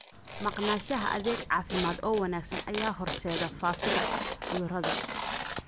Maqnaanshaha adeeg caafimaad oo wanaagsan ayaa horseeda faafidda cudurrada.